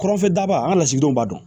Kɔrɔnfɛ daba an ga lasigidenw b'a dɔn